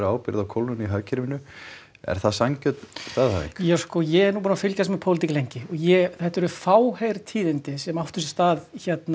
ábyrgð á kólnun í hagkerfinu er það sanngjörn staðhæfing ja sko ég er nú búinn að fylgjast með pólitík lengi og ég þetta eru fáheyrð tíðindi sem áttu sér stað